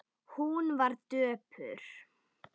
Hún var döpur.